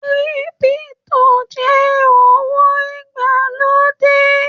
Kírípútò jẹ owó ìgbàlódé.